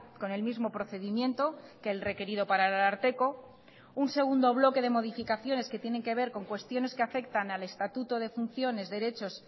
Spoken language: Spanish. con el mismo procedimiento que el requerido para el ararteko un segundo bloque de modificaciones que tienen que ver con cuestiones que afectan al estatuto de funciones derechos